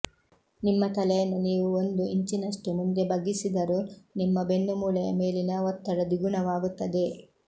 ನಿಮ್ಮ ತಲೆಯನ್ನು ನೀವು ಒಂದು ಇಂಚಿನಷ್ಟು ಮುಂದೆ ಬಗ್ಗಿಸಿದರೂ ನಿಮ್ಮ ಬೆನ್ನುಮೂಳೆಯ ಮೇಲಿನ ಒತ್ತಡ ದ್ವಿಗುಣವಾಗುತ್ತದೆ